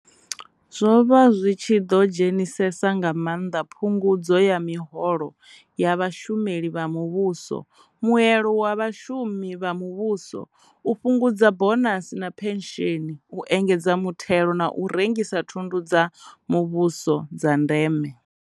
Zwo vha zwi tshi ḓo dzhenisesa nga maanḓa phungudzo ya miholo ya vhashumeli vha mu vhuso, muelo wa vhashumi vha mu vhuso, u fhungudza bonasi na phensheni, u engedza muthelo na u rengisa thundu dza mu vhuso dza ndeme.